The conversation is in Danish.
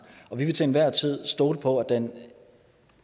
vi vil til enhver tid stole på at den